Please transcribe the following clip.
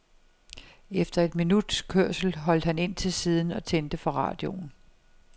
Efter et minuts kørsel holdt han ind til siden og tændte for radioen.